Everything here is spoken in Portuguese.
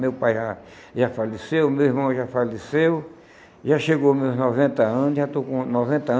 Meu pai já já faleceu, meu irmão já faleceu, já chegou meus noventa anos, já estou com noventa